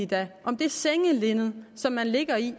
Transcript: da om det sengelinned som man ligger i